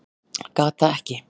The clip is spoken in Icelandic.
Gat það ekki.